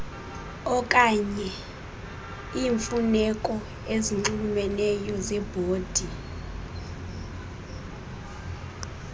okanyeiimfuneko ezinxulumeneyo zebhodi